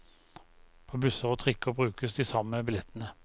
På busser og trikker brukes de samme billettene.